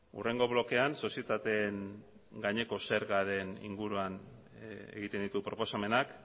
hurrengo blokean sozietateen gaineko zergaren inguruan egiten ditu proposamenak